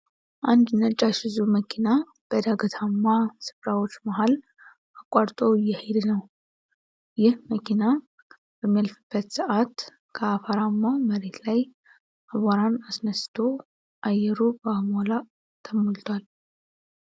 አንድ ነጭ አይሱዙ መኪና በዳገታማ ስፍራዎች መሃል አቋርጦ እየሄደ ነው። ይህ መኪና በሚያልፍበት ሰአት ከአፈራማው መሬት ላይ አቧራን አስነስቶ አየሩ በአቧራ ተሞልቷል።